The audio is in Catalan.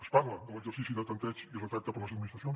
es parla de l’exercici de tanteig i retracte per a les administracions